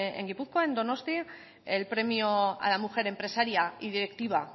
en gipuzkoa en donostia el premio a la mujer empresaria y directiva